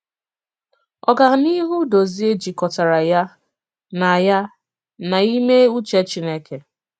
Ògànìhù Dòzìè jikòtàrà ya na ya na ìmè ùchè Chìnékè.